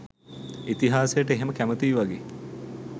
ඉතිහාසයට එහෙම කැමතියි වගේ